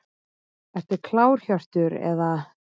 Ertu klár Hjörtur eða?